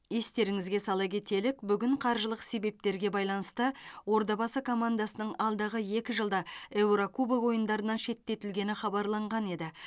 естеріңізге сала кетелік бүгін қаржылық себептерге байланысты ордабасы командасының алдағы екі жылда еурокубок ойындарынан шеттетілгені хабарланған еді